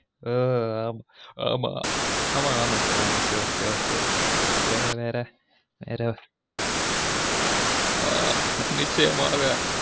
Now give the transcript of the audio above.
ஆ ஆமா ஆமா sir okay okey sir நிச்சயமாக